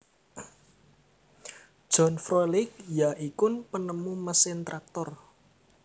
John Froelich ya ikun penemu mesin traktor